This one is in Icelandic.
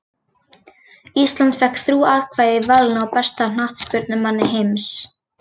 Ísland fékk þrjú atkvæði í valinu á besta knattspyrnumanni heims.